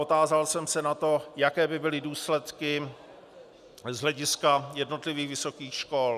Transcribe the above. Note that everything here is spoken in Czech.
Otázal jsem se na to, jaké by byly důsledky z hlediska jednotlivých vysokých škol.